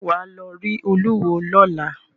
Ṣẹ́ wà á lọ rí olúwo lọ́la?